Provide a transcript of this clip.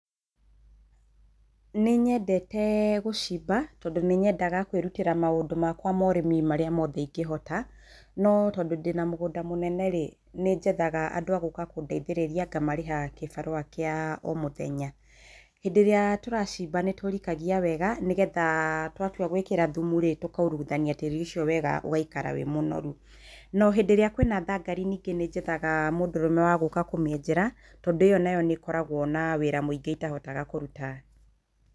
Nĩnyendete gũcimba tondũ nĩ nyendaga kwĩrutĩra maũndu makwa ma ũrimi marĩa mothe ingĩhota, no tondũ ndĩnamũgunda mũnene nĩnjethaga andũ agũka kũndeithĩrĩria ngamarĩha kĩbarũa kĩa omũthenya, hĩndĩ ĩrĩa turacimba nĩtũrikagia wega nĩgetha twatua gwikĩra thũmurĩ, tũkairũgũthania tĩri ũcio wega ũgaikara wĩmũnoru, nohĩndĩ ĩrĩa kwĩna thangari, ningĩ nĩjethaga mũndũrũme wagũka kũmĩenjera tondũ ĩyo nĩkoragwo na wĩra mwĩingĩ itahotaga kũrũta.